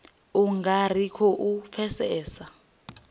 u nga ri khou pfesesa